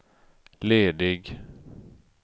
ledig